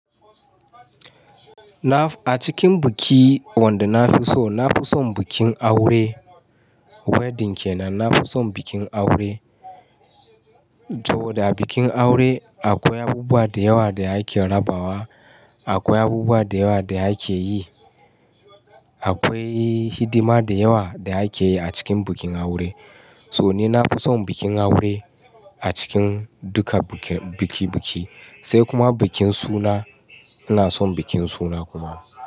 Na a cikin biki wanda na fi so, na fi son bikin aure. Wedding kenan. Na fi son bikin aure. To da bikin aure akwai abubuwa da yawa da ake rabawa, akwai abubuwa da yawa da ake yi, akwai hidima da yawa da ake yi a cikin bikin aure. To ni, na fi son bikin aure a cikin duka bikin biki biki. Sai kuma bikin suna, ina son bikin suna kuma.